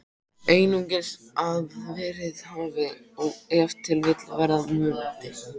Einungis að verið hafi og ef til vill verða mundi.